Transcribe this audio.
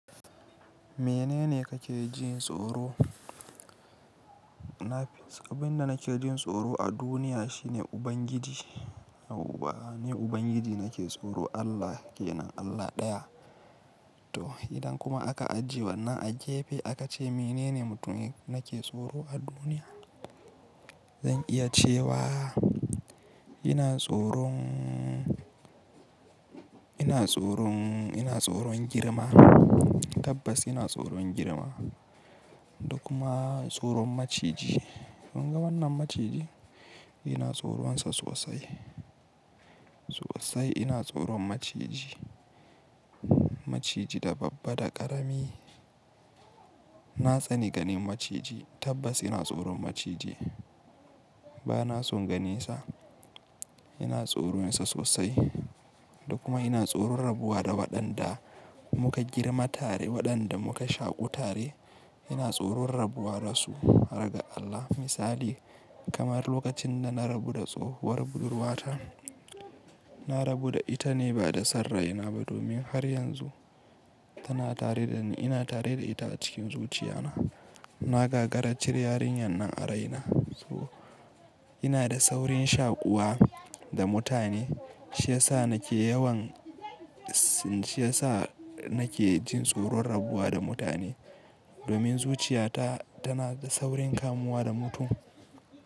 Menene kake jin tsoro? Na fi, abin da nake jin tsoro a duniya shine Ubangiji. Ni Ubangiji nake tsoro, Allah ke nan, Allah ɗaya. To, idan kuma aka ajiye wannan a gefe, aka ce menene mutumin nake tsoro a duniya? Zan iya cewa ina tsoron, ina tsoron, ina tsoron girma. Tabbas ina tsoron girma. Da kuma tsoron maciji. Kun ga wannan maciji, ina tsoronsa sosai. Sosai ina tsoron maciji. Maciji da babba, da ƙarami. Na tsani ganin maciji. Tabbas ina tsoron maciji. Ba na son ganinsa. Ina tsoronsa sosai. Da kuma ina tsoron rabuwa da waɗanda muka girma tare, waɗanda muka shaƙu tare. Ina tsoron rabuwa da su, har ga Allah. Misali kamar lokacin da na rabu da tsohuwar budurwata. Na rabu da ita ne, ba da son raina ba, domin har yanzu tana tare da ni, ina tare da ita a cikin zuciyana. Na ga-gara cire yarinyar nan a raina. To, ina da saurin shaƙuwa da mutane. Shi ya sa nake yawan, shi ya sa nake jin tsoron rabuwa da mutane. Domin zuciyata tana da saurin kamuwa da mutum.